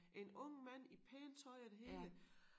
En ung mand i pænt tøj og det hele